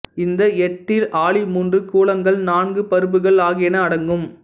இந்த எட்டில் ஆளி மூன்று கூலங்கள் நான்கு பருப்புகள் ஆகியன அடங்கும்